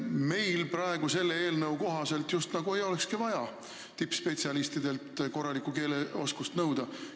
Meil selle eelnõu kohaselt just nagu ei olekski vaja tippspetsialistidelt korralikku keeleoskust nõuda.